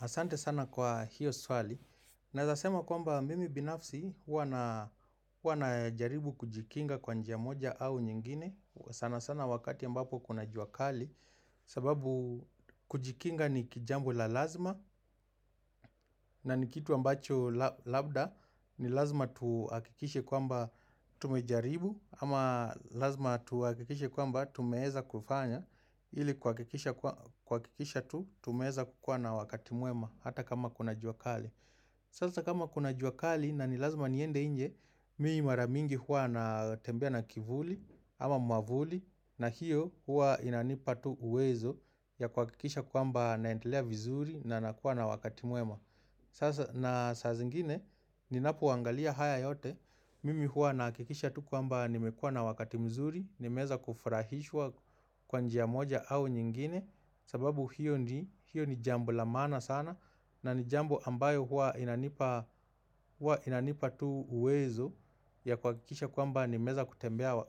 Asante sana kwa hiyo swali. Nazasema kwamba mimi binafsi wanajaribu kujikinga kwa njia moja au nyingine sana sana wakati ambapo kuna jua kali sababu kujikinga ni kijambu la lazima na nikitu ambacho labda ni lazima tuakikishe kwamba tumejaribu ama lazima tuakikishe kwamba tumeeza kufanya ili kwa kikisha tu tumeeza kukwana wakati muema Hata kama kuna juakali Sasa kama kuna jua kali na nilazuma niende inje Mi maramingi hua na tembea na kivuli ama mwavuli na hiyo hua inanipatu uwezo Yakuhakikisha kuamba na entelea vizuri na nakuwa na wakati muema Sasa na sasa zingine Ninapu wangalia haya yote Mimi huwa naha kikisha tu kuamba Nimekua na wakati mzuri nimeza kufurahishwa kwanji ya moja au nyingine sababu hiyo ni jambo la mana sana na ni jambo ambayo huwa inanipa tu uwezo ya kuwakilisha kwamba ni meza kutembea kwa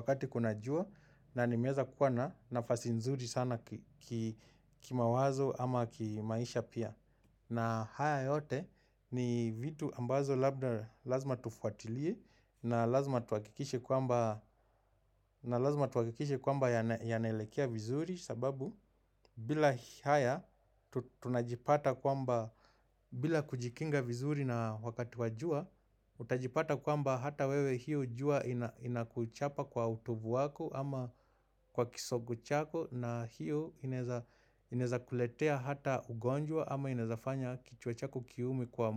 wakati kunajua na nimeza kwana nafasi nzuri sana kima wazo ama kimaisha pia. Na haya yote nivitu ambazo labda lazima tufuatilie na lazima tuwakikishe kwamba ya nelekea vizuri sababu bila haya tunajipata kwamba bila kujikinga vizuri na wakati wa jua, Utajipata kwamba hata wewe hiyo jua ina kuchapa kwa utubu waku ama kwa kisogu chako na hiyo ineza kuletea hata ugonjwa ama inezafanya kichwa chako kiume kwa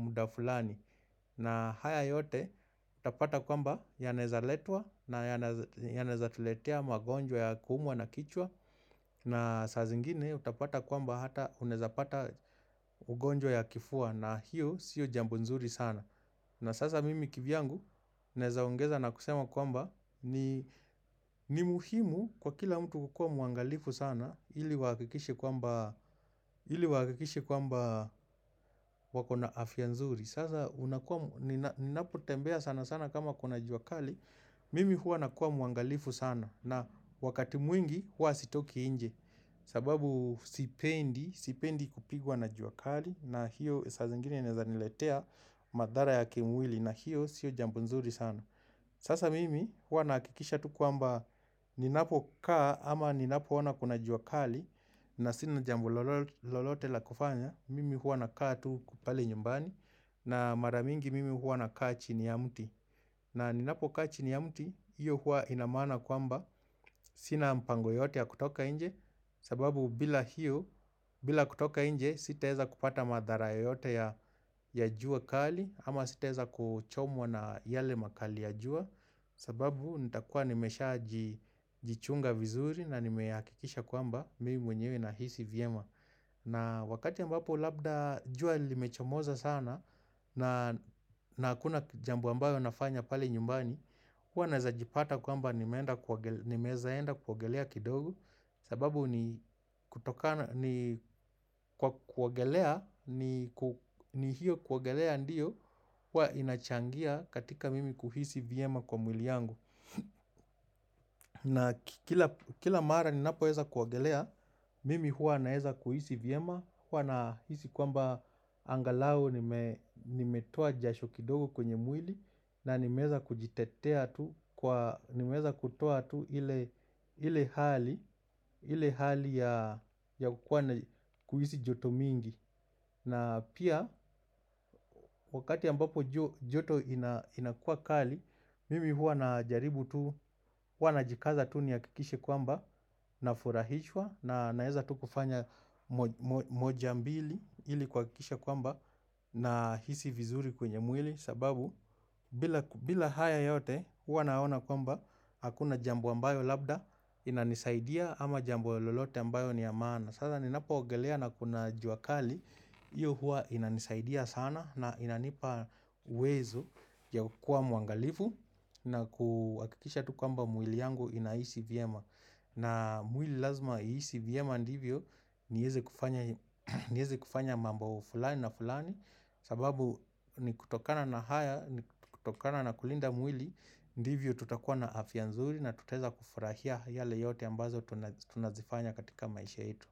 muda fulani na haya yote utapata kwamba yaneza letua na ya neza tuletea magonjwa ya kuumwa na kichwa na saa zingine utapata kwamba hata uneweza pata ugonjwa ya kifua na hiyo siu jambunzuri sana na sasa mimi kivi yangu nezaongeza na kusema kwamba ni muhimu kwa kila mtu kukua muangalifu sana ili wakikishe kwamba wakona afyabnzuri. Sasa unakuwa, ninapotembea sana sana kama kuna juakali, mimi hua nakuwa muangalifu sana na wakati mwingi hua sitoki inje. Sababu sipendi kupigwa na juakali na hiyo sa zingine naweza niletea madhara ya kimwili na hiyo sio jambu nzuri sana Sasa mimi huwa naakikisha tu kuamba Ninapo kaa ama ninapo ona kuna juakali na sina jambo lolote la kufanya Mimi huwa nakaa tu pale nyumbani na mara mingi mimi huwa nakaa chini ya miti na ninapo kaa chini ya miti Iyo huwa inamana kuamba Sina mpango yoyote ya kutoka nje sababu bila hiyo, bila kutoka nje, sitaweza kupata madhara ya yoyote ya jua kali ama sitaweza kuchomwa na yale makali ya jua sababu nitakua nimesha jichunga vizuri na nimeakikisha kwamba mimi mwenyewe na hisi viema na wakati ambapo labda jua limechomoza sana na nakuna jambo ambalo ambayo nafanya pali nyumbani Hwa na heza jipata kwamba ni mezaenda kuwagelea kidogo sababu ni kutoka ni kwa kuwagelea ni hiyo kuogelea ndiyo Hwa inachangia katika mimi kuhisi VMA kwa mwili yangu na kila mara ninapoweza kuwagelea Mimi huwa na weza kuhisi VEMA isHwa na hisi kwamba angalau nimetoa jasho kidogo kwenye mwili Nanimeza kujitetea tu, nimeza kutoa tu ile hali ya kuhisi joto mingi na pia wakati ambapo joto inakua kali, mimi hua na jaribu tu, hua na jikaza tu nihakikishe kwamba na furahishwa Nanaeza tutufanya moja mbili ili kuha kikisha kwamba na hisi vizuri kwenye mwili sababu bila haya yote huwa naona kwamba hakuna jambo ambayo labda inanisaidia ama jambu lolote ambayo niyamana sada ni napo ogelea na kuna jua kali iyo huwa inanisaidia sana na inanipa wezo ya kuwa mwangalifu na kuakikisha tu kwamba mwili yangu ina M na mwili lazima ECVM andivyo niweze kufanya mambo fulani ya na fulani sababu ni kutokana na kulinda mwili Ndivyo tutakuwa na afya nzuri na tutaweza kufurahia yale yote ambazo tunazifanya katika maisha itu.